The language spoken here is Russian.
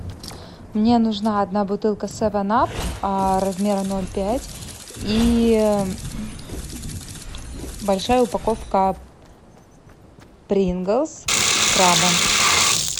мне нужна одна бутылка севен ап размера ноль пять и большая упаковка принглс с крабом